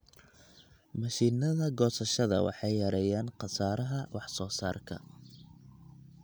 Mashiinnada goosashada waxay yareeyaan khasaaraha soosaarka.